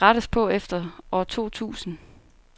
Det skal der rettes på efter år totusind.